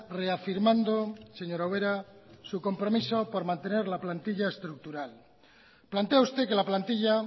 reafirmando señora ubera su compromiso por mantener la plantilla estructural plantea usted que la plantilla